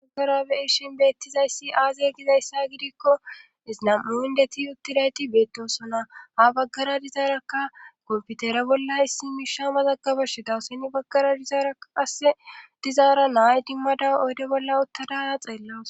Aggarabeeshin beettizayssi aazey gizayssa gidikko iznam'u indeti uttidayti beettosona ha baggara dizaaraka komfutere bolla issi miisha mazaga bashe dawuseni baggara dizaaraa asse dizaara nay dimmada oyde bolla ottadaa xeellaws